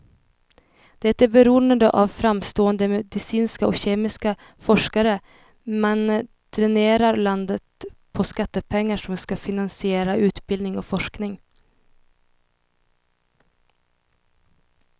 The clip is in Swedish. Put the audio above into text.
Det är beroende av framstående medicinska eller kemiska forskare, men dränerar landet på skattepengar som ska finansiera utbildning och forskning.